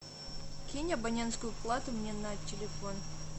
кинь абонентскую плату мне на телефон